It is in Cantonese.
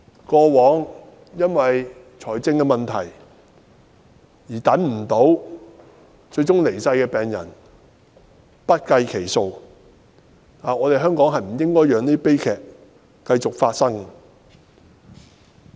過往，因為經濟問題卻等不到資源而最終離世的病人不計其數，香港不應該讓這些悲劇繼續發生。